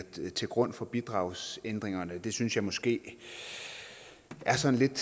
til grund for bidragsændringerne det synes jeg måske er sådan